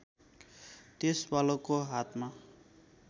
त्यस बालकको हातमा